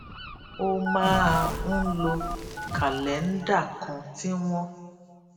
ó máa ń lo kàléńdà kan tí wón